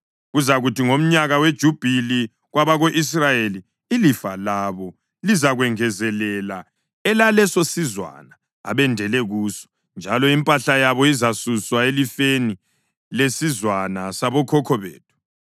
Kuzakuthi ngomnyaka weJubhili kwabako-Israyeli, ilifa labo lizakwengezelela elalesosizwana abendele kuso, njalo impahla yabo izasuswa elifeni lesizwana sabokhokho bethu.”